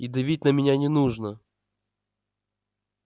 и давить на меня не нужно